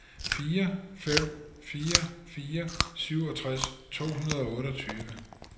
fire fem fire fire syvogtres to hundrede og otteogtyve